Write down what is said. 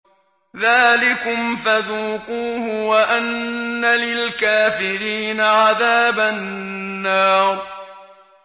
ذَٰلِكُمْ فَذُوقُوهُ وَأَنَّ لِلْكَافِرِينَ عَذَابَ النَّارِ